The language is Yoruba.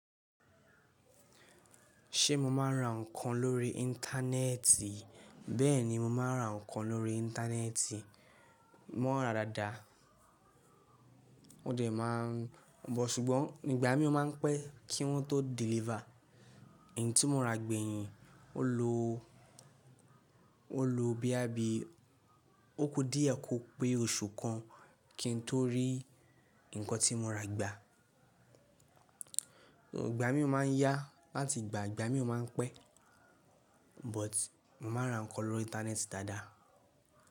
Ṣé mo máa ń ra nǹkan lórí Íńtánẹ́ẹ̀tì? Bẹ́ẹ̀ni, mo máa ń ra nǹkan lórí Íńtánẹ́ẹ̀tì. Mọ́ ra dáadáa, mo dẹ̀ máa ń bọ̀, ṣùgbọ́n ìgbà mí ó máa ń pé kí wọ́n tó deliver. Ẹ̀yin tí mo ra gbẹ̀yìn, ó lo, ó lo bíá bí, ó kú díẹ̀ kó pé oṣù kan kí n tó rí nǹkan tí mo ra gbà. Ìgbà mí ò máa ń yá láti gbà, ìgbà mí ò máa ń pẹ́, but mo máa ń ra nǹkan lórí Íńtánẹ́ẹ̀tì dáadáa.